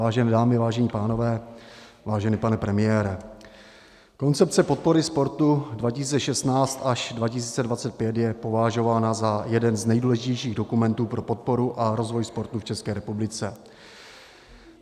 Vážené dámy, vážení pánové, vážený pane premiére, koncepce podpory sportu 2016 až 2025 je považována za jeden z nejdůležitějších dokumentů pro podporu a rozvoj sportu v České republice.